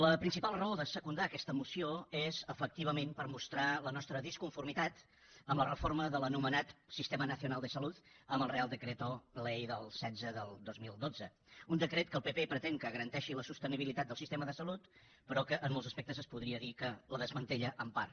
la principal raó de secundar aquesta moció és efectivament per mostrar la nostra disconformitat amb la reforma de l’anomenat sistema nacional de saluddel setze del dos mil dotze un decret que el pp pretén que garanteixi la sostenibilitat del sistema de salut però que en molts aspectes es podria dir que la desmantella en part